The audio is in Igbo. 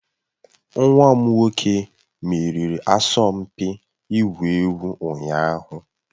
Nwa m nwoke meriri asọmpi ịgwu egwu ụnyaahụ